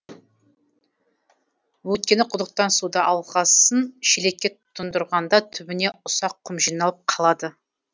өйткені құдықтан суды алғасын шелекке тұндырғанда түбіне ұсақ құм жиналып қалады